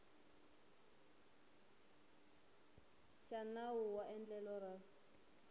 xa nawu wa endlelo ra